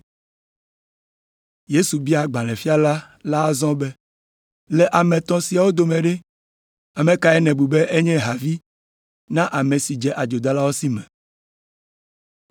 Yesu bia agbalẽfiala la azɔ be, “Le ame etɔ̃ siawo dome ɖe, kae nèbu be enye havi na ame si dze adzodalawo si me?”